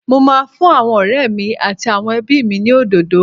Mo máa ń fún àwọn ọ̀rẹ́ mi àtàwọn ẹbí mi ní òdòdó